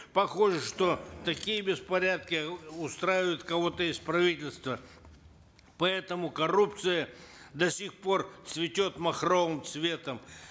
похоже что такие беспорядки устраивают кого то из правительства поэтому коррупция до сих пор цветет махровым цветом